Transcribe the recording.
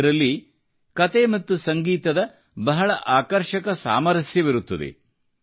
ಇದರಲ್ಲಿ ಕತೆ ಮತ್ತು ಸಂಗೀತದ ಬಹಳ ಆಕರ್ಷಕ ಸಾಮರಸ್ಯವಿರುತ್ತದೆ